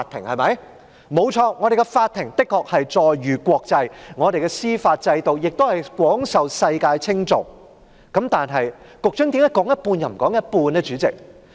我們的法庭確實載譽國際，我們的司法制度亦廣受世界稱頌，但局長為何只說一半，卻不說另一半呢？